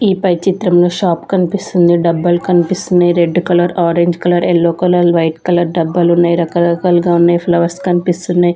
ఈ పై చిత్రంలో షాప్ కన్పిస్తుంది డబ్బాలు కన్పిస్తున్నయ్ red colour orange colour yellow colour white colour డబ్బాలు ఉన్నాయి రక రకాలుగా ఉన్నాయ్ ఫ్లవర్స్ కన్పిస్తున్నయ్ .